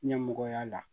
Ɲɛmɔgɔya la